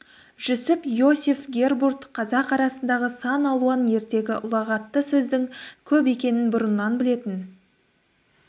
жүсіп-иосиф гербурт қазақ арасындағы сан алуан ертегі ұлағатты сөздің көп екенін бұрыннан білетін